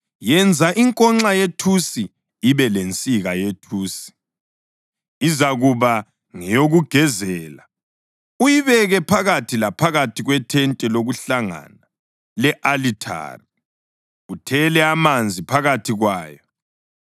“Yenza inkonxa yethusi ibe lensika yethusi, izakuba ngeyokugezela. Uyibeke phakathi laphakathi kwethente lokuhlangana le-alithari, uthele amanzi phakathi kwayo.